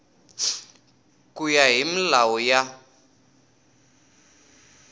ku ya hi milawu ya